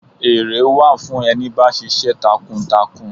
Ere wà fún ẹni bá ṣiṣẹ́ takuntakun.